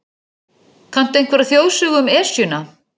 Kanntu einhverja þjóðsögu um Esjuna?